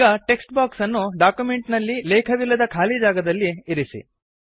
ಈಗ text box ಅನ್ನು document ನಲ್ಲಿ ಲೇಖವಿಲ್ಲದ ಖಾಲಿ ಜಾಗದಲ್ಲಿ ಇರಿಸಿ